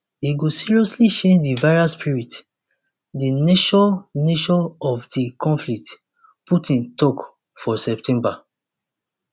e go seriously change di veri spirit di nature nature of di conflict putin tok for september